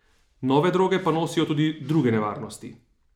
Nove droge pa nosijo tudi druge nevarnosti.